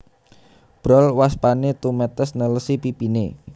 Brol waspané tumetes nelesi pipiné